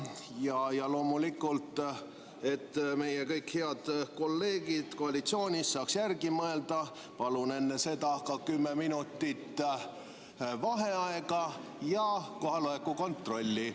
Ja et kõik meie head kolleegid koalitsioonist saaksid järele mõelda, palun enne hääletamist ka kümme minutit vaheaega ja kohaloleku kontrolli.